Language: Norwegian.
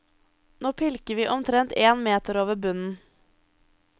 Nå pilker vi omtrent en meter over bunnen.